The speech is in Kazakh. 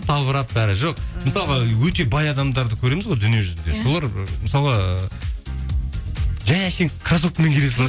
салбырап бәрі жоқ мысалға өте бай адамдарды көреміз ғой дүние жүзінде солар мысалы жай әшейін крассовкамен келе салады